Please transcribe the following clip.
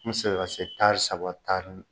N bebsegin ka se taari saba taari